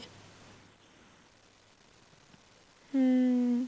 ਹਮ